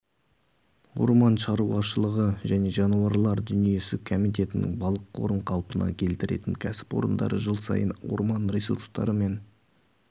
орман шаруашылығы және жануарлар дүниесі комитетінің балық қорын қалпына келтіретін кәсіпорындары жыл сайын орман ресурстары мен